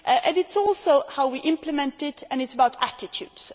It is also how we implement it and it is about attitudes.